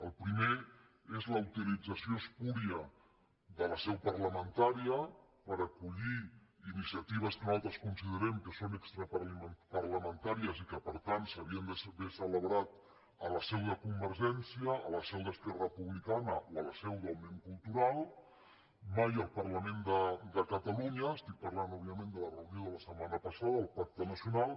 el primer és la utilització espúria de la seu parlamen·tària per acollir iniciatives que nosaltres considerem que són extraparlamentàries i que per tant s’haurien d’haver celebrat a la seu de convergència a la seu d’esquerra republicana o a la seu d’òmnium cultu·ral mai al parlament de catalunya estic parlant òb·viament de la reunió de la setmana passada del pac·te nacional